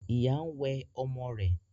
Ìyá ń wẹ ọmọ rẹ̀